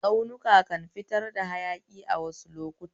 Tsaunuka kan fitar hayaki a waɗansu lokuta